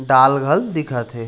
डाल घल दिखत हे।